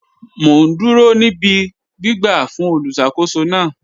Mọ̀ n dúró ní ìbí gbìgbà fún olùṣakòsó náà